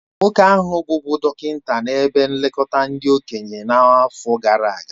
Nwoke ahụ bụbụ dọkịnta na ebe nlekọta ndị okenye n'afọ gara aga